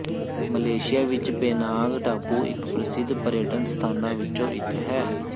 Malaysia ਵਿੱਚ Penang ਟਾਪੂ ਇੱਕ ਪ੍ਰਸਿੱਧ ਪਰਯਟਨ ਸਥਾਨਾਂ ਵਿੱਚੋਂ ਇੱਕ ਹੈ